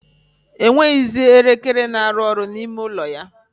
O nweghizi elekere na-arụ ọrụ n' ime ụlọ ya.